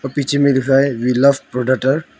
पीछे में लिखा है वी लव प्रोडाटार ।